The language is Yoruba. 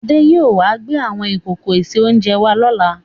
Adé yìí ó wà gbé àwọn ìkòkò ìse-oúnjẹ wá lọ́la.